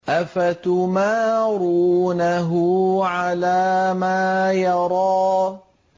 أَفَتُمَارُونَهُ عَلَىٰ مَا يَرَىٰ